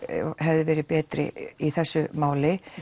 hefði verið betri í þessu máli